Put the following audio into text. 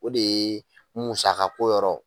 O de ye musakako yɔrɔ